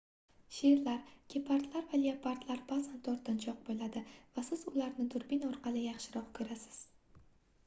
sherlar gepardlar va leopardlar baʼzan tortinchoq boʻladi va siz ularni durbin orqali yaxshiroq koʻrasiz